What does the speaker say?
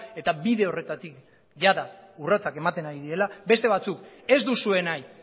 eta bide horretatik jada urratsak ematen ari direla beste batzuk ez duzue nahi